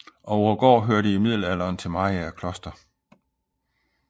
Ouegaard hørte i Middelalderen til Mariager Kloster